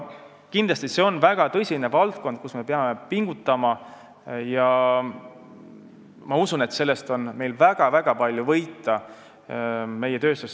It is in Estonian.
Kindlasti on see valdkond, kus me peame tõsiselt pingutama, ja ma usun, et sellest on meie tööstussektoril väga-väga palju võita.